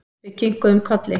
Við kinkuðum kolli.